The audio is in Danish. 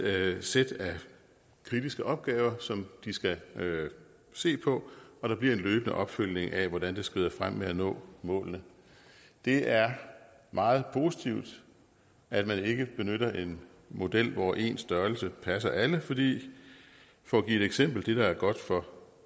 sæt af kritiske opgaver som de skal se på og der bliver en løbende opfølgning af hvordan det skrider frem med at nå målene det er meget positivt at man ikke benytter en model hvor en størrelse passer alle for at give et eksempel det der er godt for